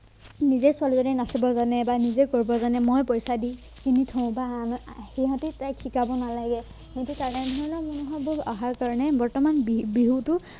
নিজে ছোৱালীজনীয়ে নাচিব জানে বা নিজে কৰিব জানে মই পইচা দি কিনি থও বা আন সিহঁতে তাইক শিকাব নালাগে এনেকে তেনেধৰণৰ মানোভাৱবোৰ অহাৰ কাৰণে বৰ্তমান বিহু বিহুটো